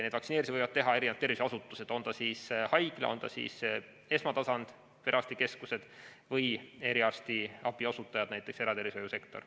Neid vaktsineerimisi võivad teha erinevad tervishoiuasutused, on see siis haigla, esmatasandi perearstikeskus või eriarstiabi osutaja, näiteks eratervishoiusektor.